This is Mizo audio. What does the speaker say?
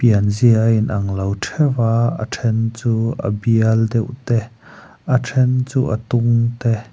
pianzia a in ang lo theuh ahhh a then chu a bial deuh te a then chu a tung te.